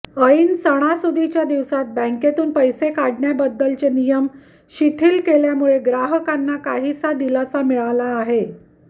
ऐन सणासुदीच्या दिवसात बँकेतून पैसे काढण्याबद्दलचे नियम शिथिल केल्यामुळे ग्राहकांना काहीसा दिलासा मिळाला आहे